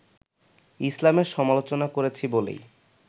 ইসলামের সমালোচনা করেছি বলেই